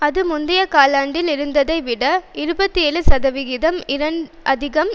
அது முந்தைய காலாண்டில் இருந்ததைவிட இருபத்தி ஏழு சதவிகிதம் அதிகம்